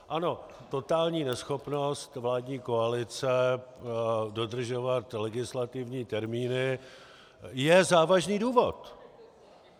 Ano, totální neschopnost vládní koalice dodržovat legislativní termíny je závažný důvod.